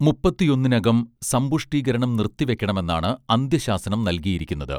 മുപ്പത്തിയൊന്നിനകം സമ്പുഷ്ടീകരണം നിർത്തിവെക്കണമെന്നാണ് അന്ത്യശാസനം നൽകിയിരിക്കുന്നത്